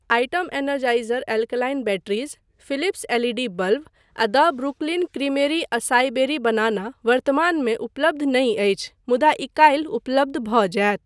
Item Energizer alkaline batteries, Philips L E D bulb आ the Brooklyn Creamery acai berry banana वर्तमानमे उपलब्ध नहि अछि मुदा ई काल्हि उपलब्ध भऽ जायत।